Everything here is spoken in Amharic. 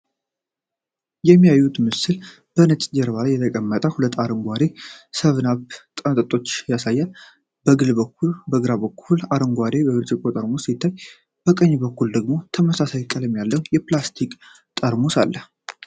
የሚያዩት ምስል በነጭ ጀርባ ላይ የተቀመጡ ሁለት አረንጓዴ 7አፕ መጠጦችን ያሳያል። በግራ በኩል፣ አረንጓዴ የብርጭቆ ጠርሙስ ሲታይ፣ በቀኝ በኩል ደግሞ ተመሳሳይ ቀለም ያለው የፕላስቲክ ጠርሙስ አለ።